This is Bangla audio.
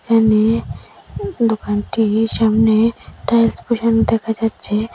এনে দুকানটির সামনে টাইলস বসানো দেখা যাচ্ছে।